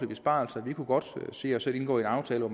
besparelser vi kunne godt se os selv indgå en aftale hvor